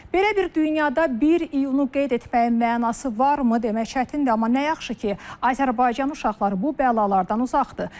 Belə bir dünyada 1 iyunu qeyd etməyin mənası varmı demək çətindir, amma nə yaxşı ki, Azərbaycan uşaqları bu bəlalardan uzaqdır.